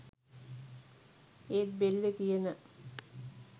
ඒත් බෙල්ලේ තියෙන